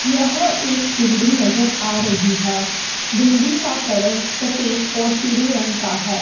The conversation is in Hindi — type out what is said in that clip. यह एक बिल्डिंग नजर आ रही हैं बिल्डिंग का कलर सफेद और पीले रंग का है।